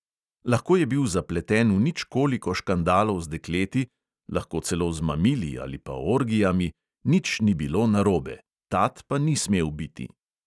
Lahko je bil zapleten v nič koliko škandalov z dekleti, lahko celo z mamili ali pa orgijami, nič ni bilo narobe, tat pa ni smel biti.